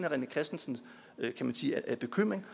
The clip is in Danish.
rené christensens bekymring